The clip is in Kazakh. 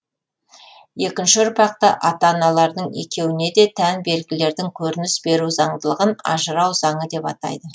екінші ұрпақта ата аналарының екеуіне де тән белгілердің көрініс беру заңдылығын ажырау заңы деп атайды